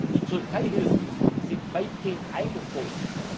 Die Türkeihilfen sind weitgehend eingefroren.